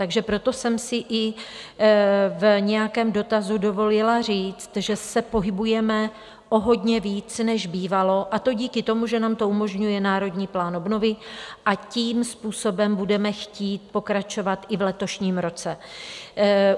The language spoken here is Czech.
Takže proto jsem si i v nějakém dotazu dovolila říct, že se pohybujeme o hodně víc, než bývalo, a to díky tomu, že nám to umožňuje Národní plán obnovy, a tím způsobem budeme chtít pokračovat i v letošním roce.